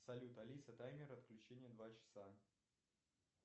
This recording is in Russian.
салют алиса таймер отключения два часа